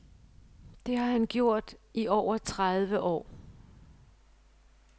Det har han gjort i over tredive år.